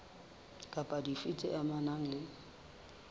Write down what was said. kapa dife tse amanang le